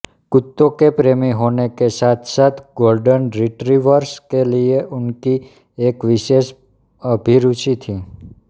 कुत्तों के प्रेमी होने के साथसाथ गोल्डन रिट्रीवर्स के लिये उनकी एक विशेष अभिरूचि थी